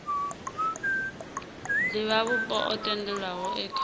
divhavhupo o tendelwaho e kha